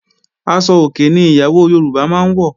Aṣọ òkè ni ìyàwó Yorùbá máa ń wọ̀